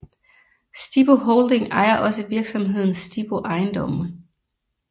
Stibo Holding ejer også virksomheden Stibo Ejendomme